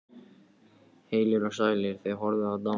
Heilir og sælir, þið horfnu og dánu.